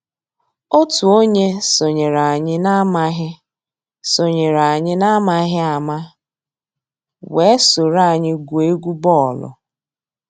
Ótú ónyé sonyééré ànyị́ n'àmàghị́ sonyééré ànyị́ n'àmàghị́ àmá weé sòró ànyị́ gwúó égwu bọ́ọ̀lụ́.